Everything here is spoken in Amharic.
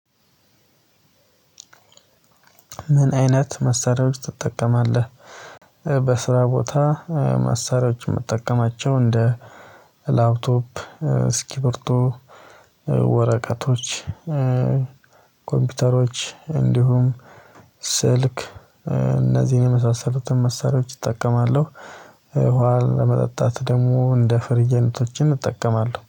ምን አይነት መሳሪያዎች ትጠቀማለህ? በስራ ቦታ መሳሪያዎችን ምጠቀማቸው እንደ ላፕቶፕ፣ እስኪብርቶ፣ ወረቀቶች ኮምፒውተሮች እንዲሁም ስልክ እነዚህን የመሳሰሉትን መሳሪያዎች እጠቀማለሁ ውሃ ለመጠጣት ደግሞ እንደ ፍሪጅ አይነቶችን እጠቀማለሁ